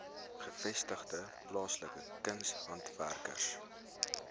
gevestigde plaaslike kunshandwerkers